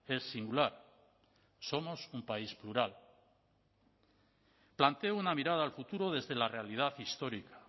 es singular somos un país plural planteo una mirada al futuro desde la realidad histórica